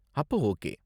அப்ப ஓகே.